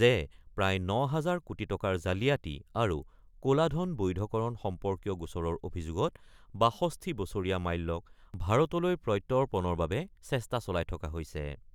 যে প্ৰায় ৯ হাজাৰ কোটি টকাৰ জালিয়াতি আৰু ক'লা ধন বৈধকৰণ সম্পৰ্কীয় গোচৰৰ অভিযোগত ৬২ বছৰীয়া মাল্যক ভাৰতলৈ প্ৰত্যৰ্পণৰ বাবে চেষ্টা চলাই থকা হৈছে।